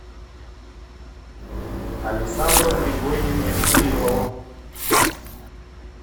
александру григорьевичу кириллову